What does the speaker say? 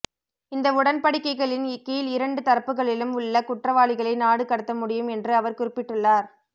இந்த உடன்படிக்கைகளின் கீழ் இரண்டு தரப்புக்களிலும் உள்ள குற்றவாளிகளை நாடு கடத்தமுடியும் என்று அவர் குறிப்பிட்டுள்ளார்